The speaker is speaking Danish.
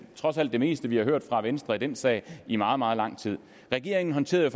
trods alt det meste vi har hørt fra venstre i den sag i meget meget lang tid regeringen håndterede